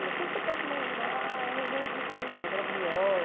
Tudo que você possa imaginar é a região riquíssima, graviola.